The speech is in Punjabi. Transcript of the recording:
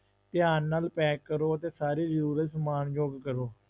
ਧਿਆਨ ਨਾਲ pack ਕਰੋ ਅਤੇ ਸਾਰੀ ਜ਼ਰੂਰਤ ਸਮਾਨਯੋਗ ਰਹੋ।